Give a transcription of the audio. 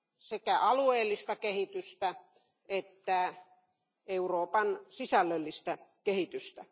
sekä alueellista kehitystä että Euroopan sisällöllistä kehitystä.